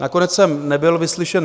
Nakonec jsem nebyl vyslyšen.